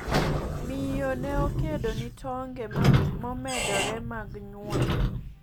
. Miyo ne okedo ni tonge momedore mag nyuol